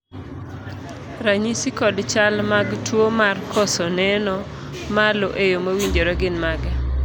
ranyisi kod chal mag tuo mar koso neno malo eyo mowinjore gin mage?